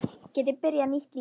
Geti byrjað nýtt líf.